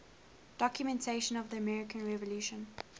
documents of the american revolution